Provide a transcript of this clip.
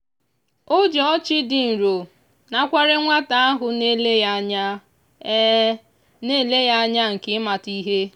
o ji ọchị dị nro nakwere nwata ahụ na-ele ya anya na-ele ya anya nke ịmata ihe.